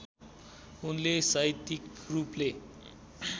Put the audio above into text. उनले साहित्यिक रूपले